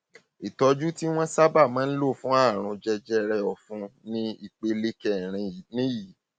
ìtọjú tí wọn sábà máa ń lò fún àrùn jẹjẹrẹ ọfun ní ìpele kẹrin nìyí